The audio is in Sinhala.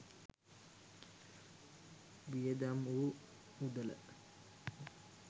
වියදම් වූ මුදල